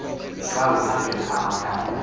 xa uhambela amakhaya